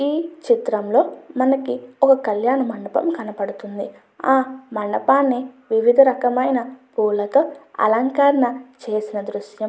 ఈ చిత్రం లో మనకి ఒక కళ్యాణ మండపం కనబడుతుంది ఆ మండపాన్ని వివిధ రకమైన పూలతో అలంకరణ చేసిన దృశ్యం --